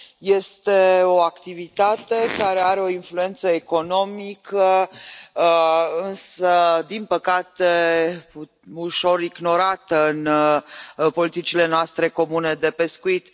Este o activitate care are o influență economică din păcate ușor ignorată în politicile noastre comune de pescuit.